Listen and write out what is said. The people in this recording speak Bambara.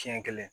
Siɲɛ kelen